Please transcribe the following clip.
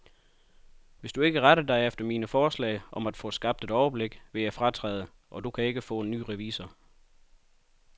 Hvis du ikke retter dig efter mine forslag om at få skabt et overblik, vil jeg fratræde, og du kan ikke få en ny revisor.